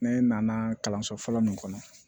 Ne nana kalanso fɔlɔ min kɔnɔ